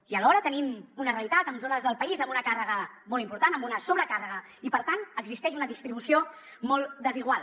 i alhora tenim una realitat amb zones del país amb una càrrega molt important amb una sobrecàrrega i per tant existeix una distribució molt desigual